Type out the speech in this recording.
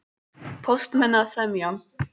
Póstmenn að semja